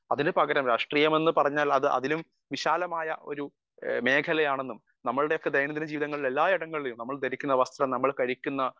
speaker 1 അതിനു പകരം രാഷ്ട്രീയം എന്ന് പറഞ്ഞാൽ അതിലും വിശാലമായ ഒരു മേഖലയാണെന്നും നമ്മുടെയൊക്കെ ദൈദിനം ദിന ജീവിതത്തിൽ എല്ലായിടങ്ങളിലും നമ്മൾ ധരിക്കുന്ന വസ്ത്രം നമ്മൾ കഴിക്കുന്ന